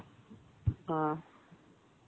ஆ